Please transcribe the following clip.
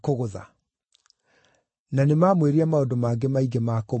Na nĩmamwĩrire maũndũ mangĩ maingĩ ma kũmũruma.